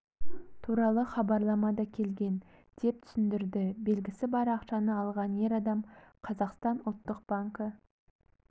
туралы хабарлама да келген деп түсіндірді белгісі бар ақшаны алған ер адам қазақстан ұлттық банкі